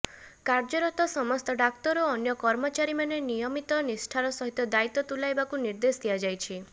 କାର୍ଯ୍ୟରତ ସମସ୍ତ ଡାକ୍ତର ଓ ଅନ୍ୟ କର୍ମଚାରୀମାନେ ନିୟମିତ ନିଷ୍ଠାର ସହିତ ଦାୟିତ୍ୱ ତୁଲାଇବାକୁ ନିର୍ଦେଶ ଦିଆଯାଇଛି